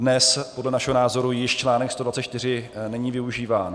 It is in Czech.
Dnes podle našeho názoru již článek 124 není využíván.